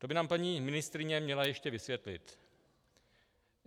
To by nám paní ministryně měla ještě vysvětlit.